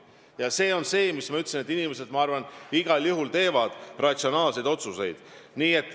Ja ma arvan, nagu ma ütlesin, et inimesed igal juhul teevad ratsionaalseid otsuseid.